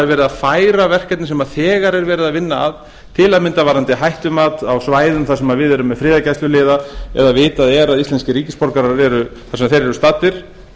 að færa verkefni sem þegar er verið að vinna að til að mynda varðandi hættumat á svæðum þar sem við erum með friðargæsluliða eða vitað er að íslenskir ríkisborgarar eru þar sem þeir eru staddir